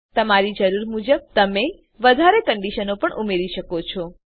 તમારી જરૂર મુજબ તમે વધારે કંડીશનો પણ ઉમેરી શકો છો